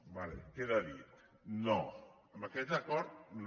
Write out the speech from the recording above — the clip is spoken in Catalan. d’acord queda dit no amb aquest acord no